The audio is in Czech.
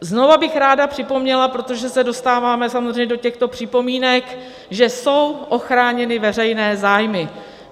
Znovu bych ráda připomněla, protože se dostáváme samozřejmě do těchto připomínek, že jsou ochráněny veřejné zájmy.